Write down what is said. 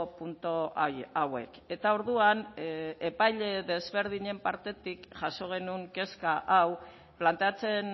puntu hauek eta orduan epaile desberdinen partetik jaso genuen kezka hau planteatzen